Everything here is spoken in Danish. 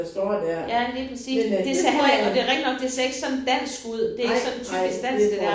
Ja lige præcis. Det ser heller ikke og det rigtigt nok det ser ikke sådan dansk ud. Det ikke sådan typisk dansk det der